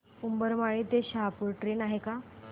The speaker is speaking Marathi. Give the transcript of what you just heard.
उंबरमाळी ते शहापूर ट्रेन आहे का